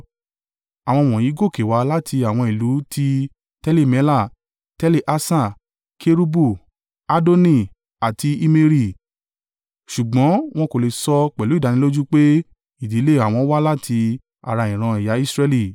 Àwọn wọ̀nyí gòkè wá láti àwọn ìlú ti Teli-Mela, Teli-Harṣa, Kerubu, Addoni àti Immeri, ṣùgbọ́n wọn kò lè sọ pẹ̀lú ìdánilójú pé ìdílé àwọn wá láti ara ìran ẹ̀yà Israẹli.